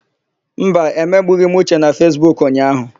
Mba, emegbughị m Uche na Fesbuku ụnyaahụ.